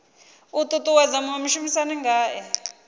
u ṱuṱuwedza muṅwe mushumisani ngae